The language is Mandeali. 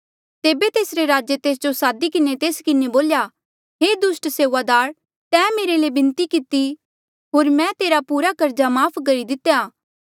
तेबे तेसरे राजे तेस जो सादी किन्हें तेस किन्हें बोल्या हे दुस्ट सेऊआदार तैं मेरे ले बिनती किती होर मैं तेरा पूरा कर्जा माफ़ करी दितेया